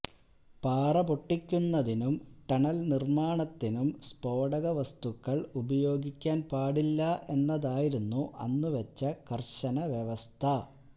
പാറ പൊട്ടിക്കുന്നതിനും ടണല് നിര്മ്മാണത്തിനും സ്ഫോടക വസ്തുക്കള് ഉപയോഗിക്കാന് പാടില്ല എന്നതായിരുന്നു അന്ന് വച്ച കര്ശന വ്യവസ്ഥ